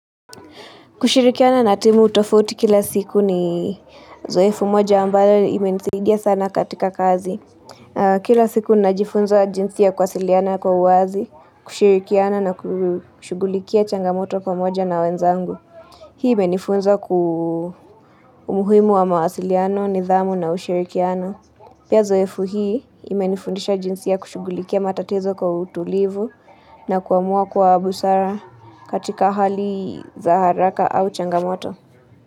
Kushirikiana na timu utofuti kila siku ni zoefu moja ambayo imenisidia sana katika kazi. Kila siku najifunza jinsia kwasiliana kwa uazi, kushirikiana na kushugulikia changamoto kwa pamoja na wenzangu. Hii imenifunza ku muhimu wa mawasiliano, nidhamu na ushirikiano. Pia uzoefu hii ima nifundisha jinsi ya kushugulikia matatizo kwa utulivu na kuamua kwa busara katika hali za haraka au changamoto.